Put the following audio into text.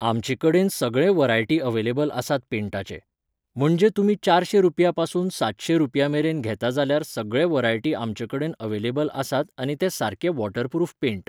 आमचे कडेन सगळे व्हरायटी अवेलेबल आसात पेंटाचे. म्हणजे तुमी चारशें रुपया पसून सातशे रुपया मेरेन घेता जाल्यार सगळे व्हरायटी आमचे कडेन अवेलेबल आसात आनी ते सारके वॉटर प्रुफ पेंट.